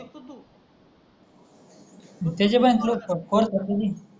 त्याच्या पण कोणत कोर्स असते